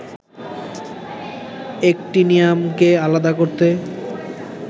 অ্যাক্টিনিয়ামকে আলাদা করতে